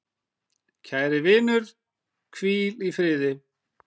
Kæri vinur, hvíl í friði.